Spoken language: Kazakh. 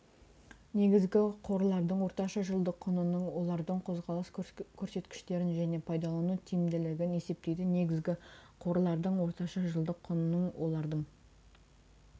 негізгі қорлардың орташа жылдық құнының олардың қозғалыс көрсеткіштерін және пайдалану тиімділігін есептейді негізгі қорлардың орташа жылдық құнының олардың